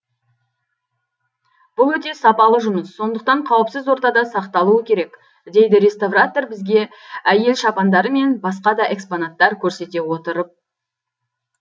бұл өте сапалы жұмыс сондықтан қауіпсіз ортада сақталуы керек дейді реставратор бізге әйел шапандары мен басқа да экспонаттар көрсете отырып